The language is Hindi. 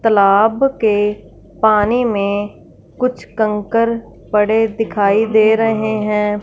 तालाब के पानी में कुछ कंकड़ पड़े दिखाई दे रहे हैं।